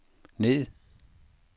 ned